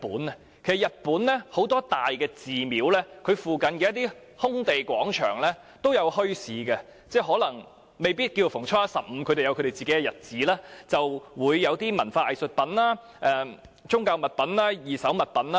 其實在日本，很多大寺廟附近的一些空地、廣場均會舉辦墟市，可能未必是逢初一、十五，而是在特定的日子，便會有商販擺賣文化藝術品、宗教物品或二手物品。